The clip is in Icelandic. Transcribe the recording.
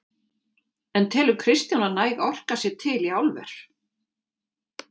En telur Kristján að næg orka sé til í álver?